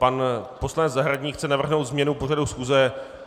Pan poslanec Zahradník chce navrhnout změnu pořadu schůze.